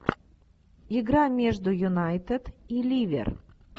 игра между юнайтед и ливер